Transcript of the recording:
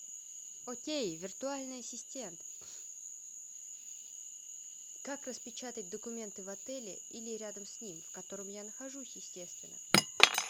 окей виртуальный ассистент как распечатать документы в отеле или рядом с ним в котором я нахожусь естественно